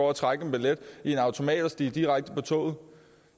og trække en billet i en automat og stige direkte på toget